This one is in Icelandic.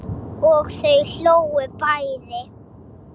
Og þau hlógu bæði.